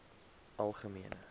algemene